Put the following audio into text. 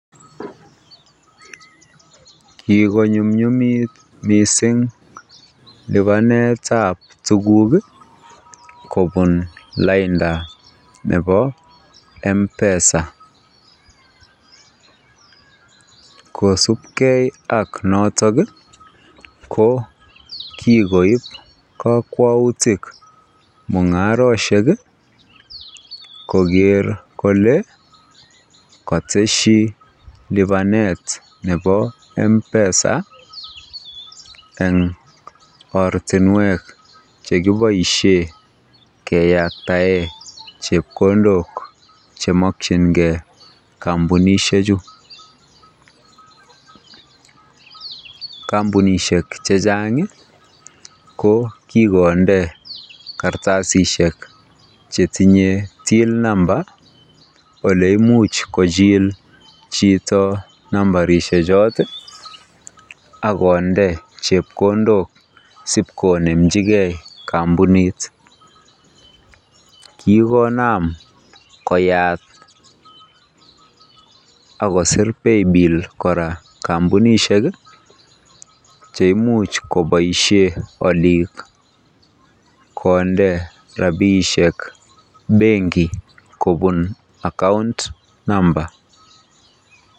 Kiko nyumnyumit mising libanetab tukuk kobun lainda neb mpesa, kosubke ak noton ko kikoib kokwoutik mungaroshek koker kolee koteshi libanet nebo mpesa eng ortinwek chekiboishen keyaktaen chepkondok chemokyinge kombunishe chuu, kombunishek chechang ko kikonde kartasishek chetinye till namba neimuch kochil chito nambarishe cho ak konde chepkondok siip konemchike kombunit, kikonam koyat akosir paypill kora kombunishek cheimuch koboishen oliik konde rabishek benki kobun account number.